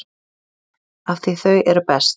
Af því þau eru best